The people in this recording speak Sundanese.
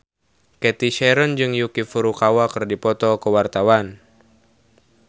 Cathy Sharon jeung Yuki Furukawa keur dipoto ku wartawan